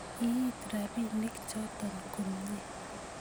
iit rapinik choto komnye